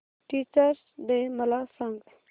teachers day मला सांग